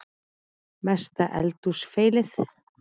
Mesta eldhús feilið?